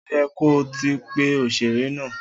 O yẹ kó ti pe òṣèré náà